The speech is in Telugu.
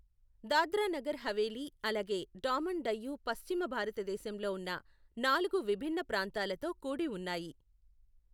దాద్రా నగర్ హవేలీ, అలాగే డామన్ డయ్యు పశ్చిమ భారతదేశంలో ఉన్న నాలుగు విభిన్న ప్రాంతాలతో కూడి ఉన్నాయి.